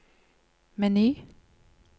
meny